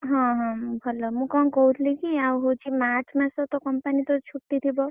ହଁ ହଁ ଭଲ। ମୁଁ କଣ କହୁଥିଲି କି ଆଉ ହଉଛି March ମାସ company ତ ଛୁଟି ଥିବ?